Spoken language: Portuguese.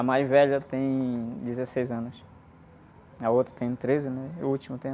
A mais velha tem dezesseis anos, a outra tem treze, né? E a última tem...